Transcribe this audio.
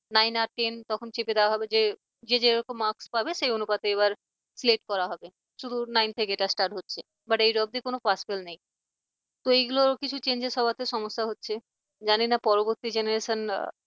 nine আর ten তখন চেপে দেওয়া হবে যে যে যেরকম marks পাবে, সেই অনুপাতে এবার select করা হবে শুধু nine থেকে এটা start হচ্ছে but eight অব্দি কোন pass fail নেই। তো এগুলো কিছু changes হওয়াতে সমস্যা হচ্ছে জানিনা পরবর্তী generations